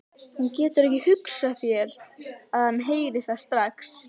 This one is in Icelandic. Hún getur ekki hugsað sér að hann heyri þetta strax.